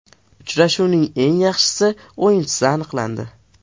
Uchrashuvning eng yaxshi o‘yinchisi aniqlandi.